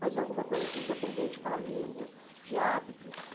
Mas e alguma coisa assim, independente da língua, de hábitos,